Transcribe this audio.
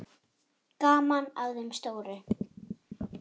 Gaman að þeim stóru.